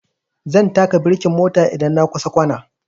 Zan taka birkin mota idan na kusa kwana